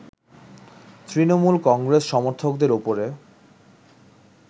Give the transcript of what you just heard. তৃণমূল কংগ্রেস সমর্থকদের ওপরে